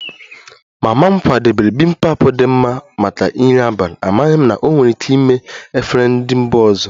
Mama m kwadebere bibimpap dị mma maka nri abalị, amaghị m na ọ nwere ike ime efere ndị mba ọzọ